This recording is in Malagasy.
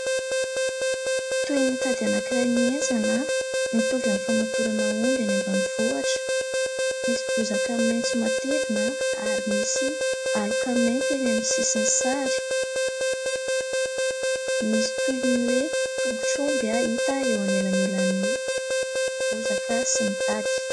Toy ny tady anankiray mienjana, mitovy amin'ny famatorana omby eny ambanivohitra, misy bozaka maitso matevina ary misy aloka mainty eny amin'ny sisin'ny sary. Misy toy ny hoe : tongotr'omby, hita eo anelanelan'ny bozaka sy ny tady.